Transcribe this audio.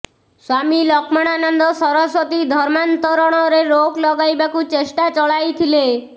ସ୍ୱାମୀ ଲକ୍ଷ୍ମଣାନନ୍ଦ ସରସ୍ୱତୀ ଧର୍ମାନ୍ତରଣରେ ରୋକ୍ ଲଗାଇବାକୁ ଚେଷ୍ଟା ଚଳାଇଥିଲେ